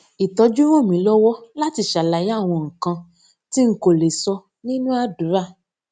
ìtọjú ràn mí lọwọ láti ṣàlàyé àwọn nǹkan tí n kò lè sọ nínú àdúrà